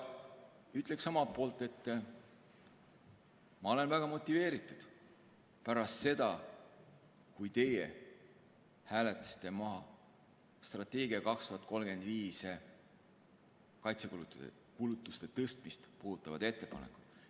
Ütleksin omalt poolt, et ma olen väga motiveeritud pärast seda, kui te hääletasite strateegias 2035 maha kaitsekulutuste tõstmist puudutavad ettepanekud.